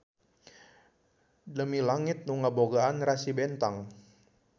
Demi langit nu ngabogaan rasi bentang.